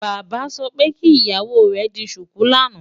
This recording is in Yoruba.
Bàbá sọ pé kí ìyàwó rẹ̀ di ṣùkú lánàá.